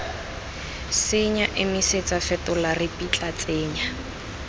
senya emisetsa fetola ripitla tsenya